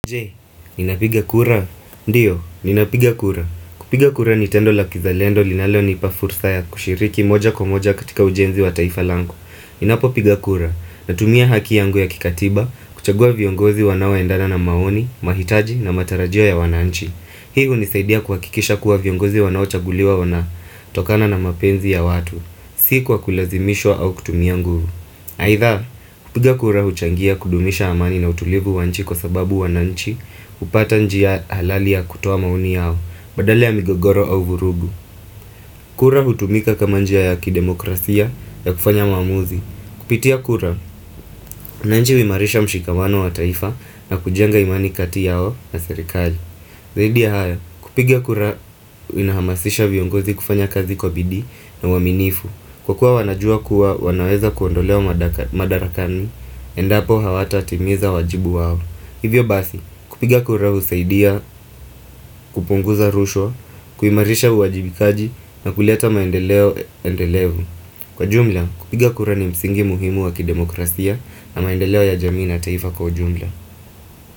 Je, ninapiga kura? Ndiyo, ninapiga kura. Kupiga kura ni tendo la kizalendo linalonipa fursa ya kushiriki moja kwa moja katika ujenzi wa taifa langu. Ninapo piga kura, natumia haki yangu ya kikatiba, kuchagua viongozi wanaoendana na maoni, mahitaji na matarajio ya wananchi. Hii unisaidia kuhakikisha kuwa viongozi wanaochaguliwa wana, tokana na mapenzi ya watu. Si kwa kulazimishwa au kutumia nguvu. Haidha, kupiga kura huchangia kudumisha amani na utulivu wa nchi kwa sababu wananchi upata njia halali ya kutoa maoni yao, badala ya migogoro au vurugu kura hutumika kama njia ya kidemokrasia ya kufanya maamuzi Kupitia kura, na njia uimarisha mshikamano wa taifa na kujenga imani kati yao na serikali Zaidi ya haya, kupigia kura inahamasisha viongozi kufanya kazi kwa bidii na waaminifu Kwa kuwa wanajua kuwa wanaweza kuondolewa madarakani, endapo hawatatimiza wajibu wao Hivyo basi, kupiga kura husaidia, kupunguza rushwa, kuimarisha uwajibikaji na kuleta maendeleo endelevu Kwa jumla, kupiga kura ni msingi muhimu wa kidemokrasia na maendeleo ya jamii na taifa kwa jumla.